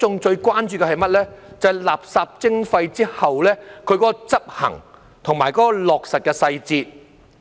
就是實施垃圾徵費後的執行及落實細節。